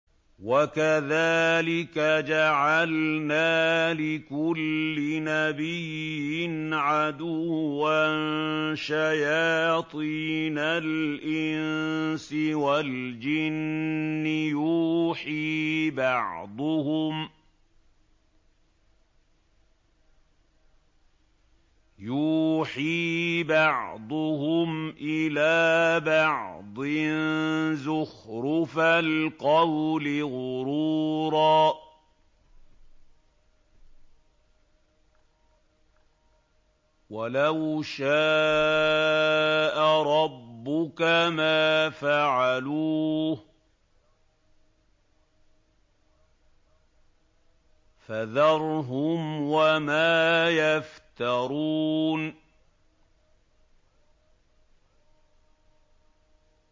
وَكَذَٰلِكَ جَعَلْنَا لِكُلِّ نَبِيٍّ عَدُوًّا شَيَاطِينَ الْإِنسِ وَالْجِنِّ يُوحِي بَعْضُهُمْ إِلَىٰ بَعْضٍ زُخْرُفَ الْقَوْلِ غُرُورًا ۚ وَلَوْ شَاءَ رَبُّكَ مَا فَعَلُوهُ ۖ فَذَرْهُمْ وَمَا يَفْتَرُونَ